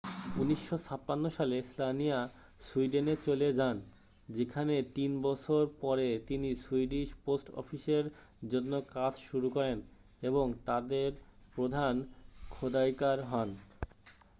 1956 সালে স্লানিয়া সুইডেনে চলে যান যেখানে তিন বছর পরে তিনি সুইডিশ পোস্ট অফিসের জন্য কাজ শুরু করেন এবং তাদের প্রধান খোদাইকার হন